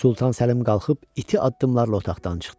Sultan Səlim qalxıb iti addımlarla otaqdan çıxdı.